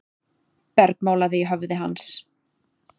bergmálaði í höfði hans.